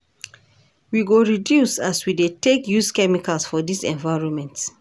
We go reduce as we dey take use chemicals for dis environment.